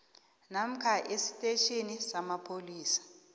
namkha esitetjhini samapholisa